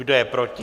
Kdo je proti?